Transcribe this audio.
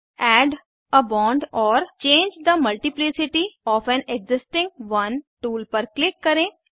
add a bond or change the multiplicity of an existing one tool पर click करें